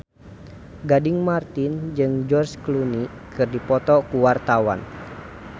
Gading Marten jeung George Clooney keur dipoto ku wartawan